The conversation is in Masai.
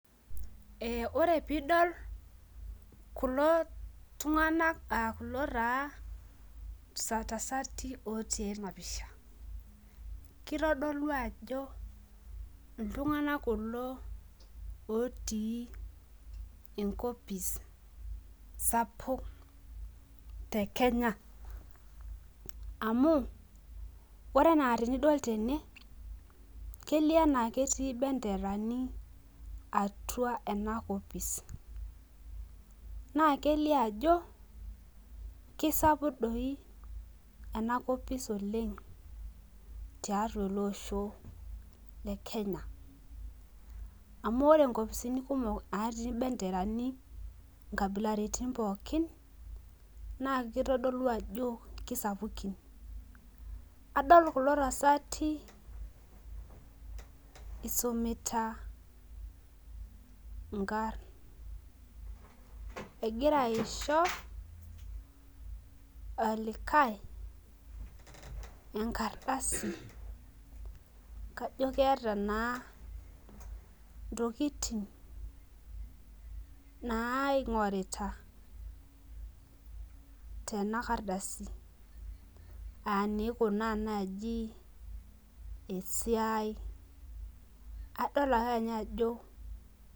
Wore piidol kulo tunganak, aah kulo taa tasati ootii ena pisha. Kitodolu ajo iltunganak kulo ootii enkopis sapuk tekenya. Amu, wore enaa tenidol tene, kelio enaa ketii imbenderani atua ena kopisi. Naa kelio ajo kesapuk dii enakopis oleng' tiatua ele osho lekenya. Amu wore inkopisini kumok naatii imbenderani inkabilaritin pookin, naa kitodolu ajo kisapukin. Adol kulo tasati isumita inkarn, ekira aisho olikae enkardasi, kajo keeta naa intokitin naaingorita, tena kardasi, aa iniikunaa naaji esiai, adol ake ninye ajo